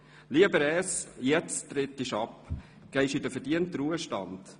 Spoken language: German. Lieber Res, jetzt trittst du ab und gehst in den verdienten Ruhestand.